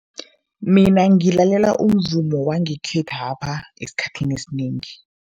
Mina ngilalela umvumo wangekhethwapha esikhathini esinengi.